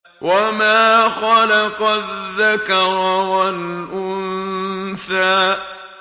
وَمَا خَلَقَ الذَّكَرَ وَالْأُنثَىٰ